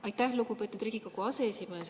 Aitäh, lugupeetud Riigikogu aseesimees!